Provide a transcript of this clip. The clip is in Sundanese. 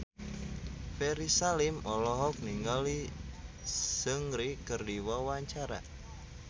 Ferry Salim olohok ningali Seungri keur diwawancara